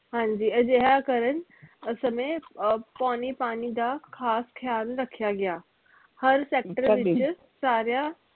ਹਾਂਜੀ ਅਜਿਹਾ ਕਰਨ ਸਮੇ ਅਹ ਪਾਉਣੀ ਪਾਣੀ ਦਾ ਖਾਸ ਖਿਆਲ ਰੱਖਿਆ ਗਿਆ ਹਰ sector ਵਿਚ ਸਾਰਿਆਂ